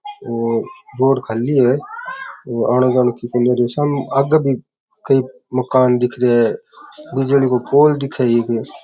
और रोड खाली है आने जाने की सामे आगे भी कई मकान दिख रहिया है बिजली को पोल दिखे एक।